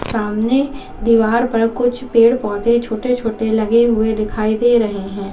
सामने दीवार पर कुछ पेड़ पौधे छोटे छोटे लगे हुए दिखाई दे रहे हैं।